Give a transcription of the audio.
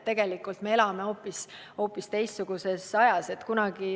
Tegelikult me elame hoopis teistsuguses ajas.